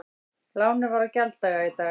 Lánið var á gjalddaga í dag